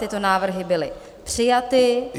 Tyto návrhy byly přijaty.